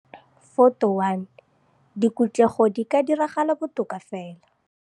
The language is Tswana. Photo 1 - Dikhutlego di ka diragala botoka fela.